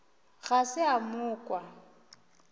ga se a mo kwa